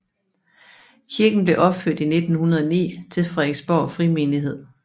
Kirken blev opført i 1909 til Frederiksborg Frimenighed